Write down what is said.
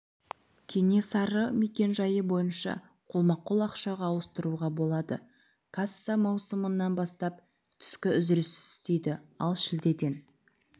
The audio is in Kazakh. кенесары мекенжайы бойынша қолма-қол ақшаға ауыстыруға болады касса маусымнан бастап түскі үзіліссіз істейді ал шілдеден